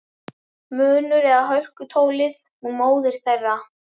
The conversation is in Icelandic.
Munur eða hörkutólið hún móðir þeirra.